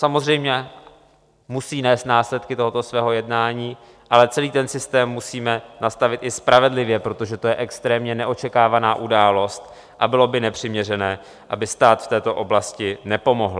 Samozřejmě musí nést následky tohoto svého jednání, ale celý ten systém musíme nastavit i spravedlivě, protože to je extrémně neočekávaná událost a bylo by nepřiměřené, aby stát v této oblasti nepomohl.